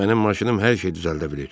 Mənim maşınım hər şey düzəldə bilir.